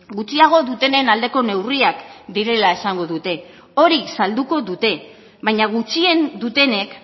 gutxiago dutenen aldeko neurriak direla esango dute hori salduko dute baina gutxien dutenek